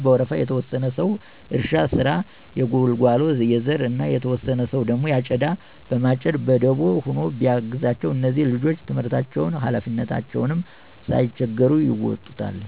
በወረፋ፤ የተወሰነ ሰዉ የእርሻ ስራ፣ የጉልጓሎ፣ የዘር እና የተወሰነ ሰዉ አጨዳ በማጨድ በደቦ ሆኖ ቢያግዛቸዉ እነዚህ ልጆች ትምህርታቸዉንም ሀላፊነታቸዉንም ሳይቸገሩ ይወጡታል።